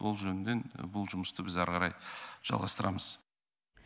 ол жөнінен бұл жұмысты біз әрі қарай жалғастырамыз